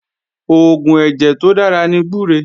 Oògùn ẹ̀jẹ̀ tó dára ní gbúre